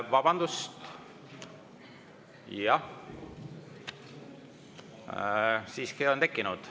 Vabandust, siiski on tekkinud.